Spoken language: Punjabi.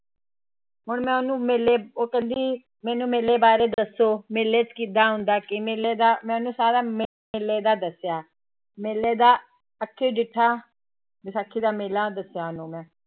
ਹੁਣ ਮੈਂ ਉਹਨੂੰ ਮੇਲੇ, ਉਹ ਕਹਿੰਦੀ ਮੈਨੂੰ ਮੇਲੇ ਬਾਰੇ ਦੱਸੋ ਮੇਲੇ ਚ ਕਿੱਦਾਂ ਹੁੰਦਾ ਕਿ ਮੇਲੇ ਦਾ, ਮੈਂ ਉਹਨੂੰ ਸਾਰਾ ਮੇਲੇ ਦਾ ਦੱਸਿਆ, ਮੇਲੇ ਦਾ ਅੱਖੀ ਡਿੱਠਾ ਵਿਸਾਖੀ ਦਾ ਮੇਲਾ ਦੱਸਿਆ ਉਹਨੂੰ ਮੈਂ।